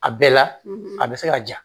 A bɛɛ la a bɛ se ka ja